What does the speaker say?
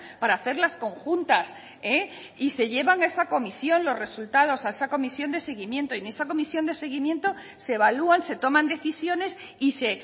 para hacerlas conjuntas y se llevan a esa comisión los resultados a esa comisión de seguimiento y en esa comisión de seguimiento se evalúan se toman decisiones y se